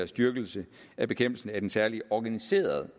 styrkelse af bekæmpelsen af den særlige organiserede